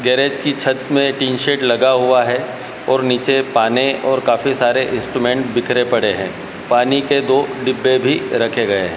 Garage की छत में टिन शेड लगा हुआ है और नीचे पाने और काफी सारे इंस्ट्रूमेंट बिखरे पड़े हैं पानी के दो डिब्बे भी राखे गए हैं।